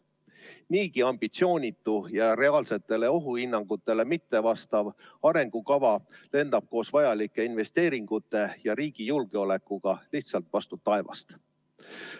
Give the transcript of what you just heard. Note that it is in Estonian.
Niigi ambitsioonitu ja reaalsetele ohuhinnangutele mittevastav arengukava lendab koos vajalike investeeringutega ja riigi julgeolekuga lihtsalt vastu taevast.